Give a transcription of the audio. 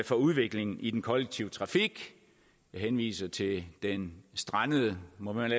for udviklingen i den kollektive trafik jeg henviser til den strandede må man